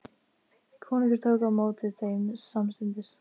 Konungur tók á móti þeim samstundis.